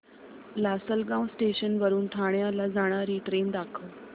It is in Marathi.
लासलगाव स्टेशन वरून ठाण्याला जाणारी ट्रेन दाखव